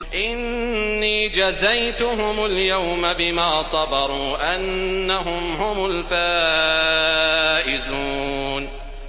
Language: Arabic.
إِنِّي جَزَيْتُهُمُ الْيَوْمَ بِمَا صَبَرُوا أَنَّهُمْ هُمُ الْفَائِزُونَ